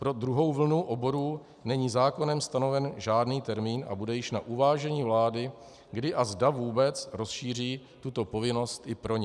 Pro druhou vlnu oborů není zákonem stanoven žádný termín a bude již na uvážení vlády, kdy a zda vůbec rozšíří tuto povinnost i pro ně.